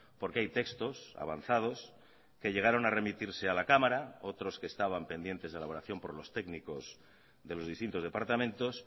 porque hay textos avanzados que llegaron a remitirse a la cámara otros que estaban pendientes de elaboración por los técnicos de los distintos departamentos